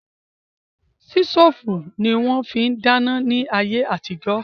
Sítòfù ni wón fi ń dáná ní ayé àtijó